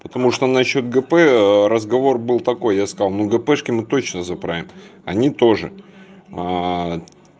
потому что насчёт гп разговор был такой я сказал на гпешке мы точно заправим они тоже